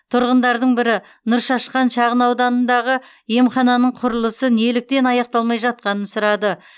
тұрғындардың бірі нұршашқан шағынауданындағы емхананың құрылысы неліктен аяқталмай жатқанын сұрады